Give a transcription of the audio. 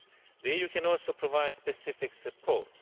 The EU can also provide specific support.